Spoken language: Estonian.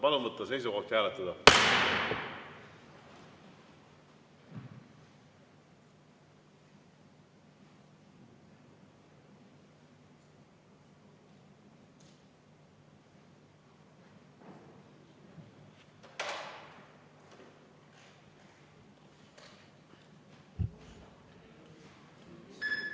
Palun võtta seisukoht ja hääletada!